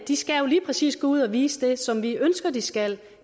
de skal jo lige præcis gå ud og vise det som vi ønsker at de skal